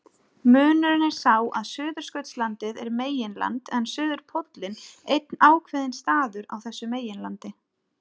Munurinn er sá að Suðurskautslandið er meginland en suðurpóllinn einn ákveðinn staður á þessu meginlandi.